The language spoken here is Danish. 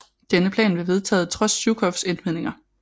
Denne plan blev vedtaget trods Zjukovs indvendinger